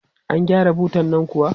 An gyara butan nan kuwa?